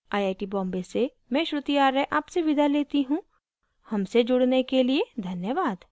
iit iit T Bombay से मैं श्रुति आर्य आपसे विदा लेती हूँ हमसे जुड़ने के लिए धन्यवाद